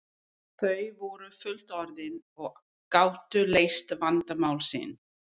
Þau voru fullorðin og gátu leyst vandamál sín.